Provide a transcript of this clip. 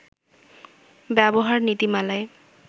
ব্যবহার নীতিমালায়